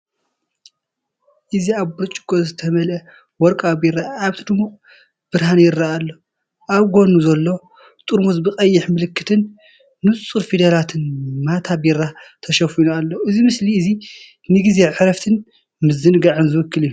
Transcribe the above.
እዚ ኣብ ብርጭቆ ዝተመልአ ወርቃዊ ቢራ ኣብቲ ድሙቕ ብርሃን ይረአ ኣሎ። ኣብ ጎድኑ ዘሎ ጥርሙዝ ብቐይሕ ምልክትን ንጹር ፊደላትን ሜታ ብራ ተሸፊኑ ኣሎ። እዚ ምስሊ እዚ ንጊዜ ዕረፍትን ምዝንጋዕን ዝውክል እዩ።